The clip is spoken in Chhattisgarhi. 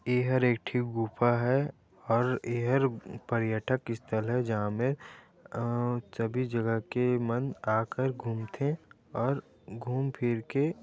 इहर एक ठी गुफा है और एहर पर्यठक स्थल है जहाँ मे अअअ सभी जगह के मन आकर घूम थे और घूम फिर के--